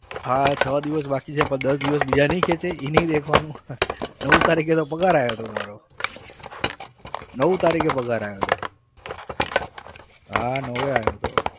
હા થોડા દિવસ બાકી છે પણ દસ દિવસ બીજા નઈ ખેચાય એ નઈ દેખવાનું નવ તારીખે તો પગાર આયો તો મારો નવ તારીખે પગાર આવ્યો હતો હા નવએ આવ્યો હતો.